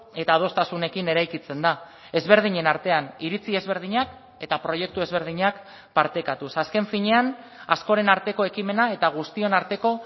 eta adostasunekin eraikitzen da ezberdinen artean iritzi ezberdinak eta proiektu ezberdinak partekatuz azken finean askoren arteko ekimena eta guztion arteko